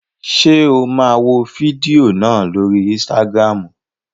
Ṣé o máa wo fídíò náà lórii ísítágírámù?